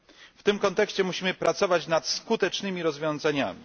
W tym kontekście musimy pracować nad skutecznymi rozwiązaniami.